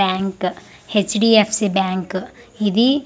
Bank HDFC. Bank ఇది.